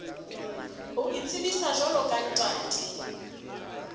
ho itsebisa jwalo ka ntate